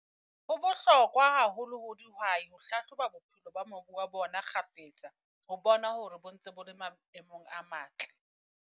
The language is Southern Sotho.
Ho bohlokwa haholo ho dihwai ho hlahloba bophelo ba mobu wa bona kgafetsa, ho bona hore bo ntse bo le maemong a matle.